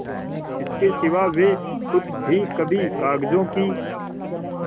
इसके सिवा वे खुद भी कभी कागजों की